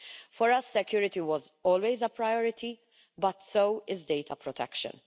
For us, security was always a priority, but so is data protection.